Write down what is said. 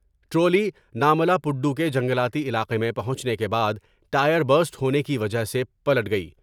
Trolley نامالا پڈو کے جنگلاتی علاقے میں ہو پہنچنے کے بعد ٹائر پسٹ ہونے کی وجہ سے پلٹ گئی ۔